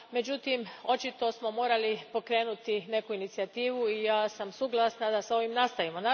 Međutim, očito smo morali pokrenuti neku inicijativu i ja sam suglasna da s ovim nastavimo.